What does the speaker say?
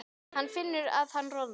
Hann finnur að hann roðnar.